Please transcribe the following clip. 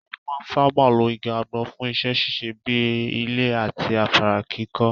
Wọn máa ń sáábà lo igi àgbọn fún iṣẹ́ ṣíṣe bíi ilé àti afárá kíkọ́.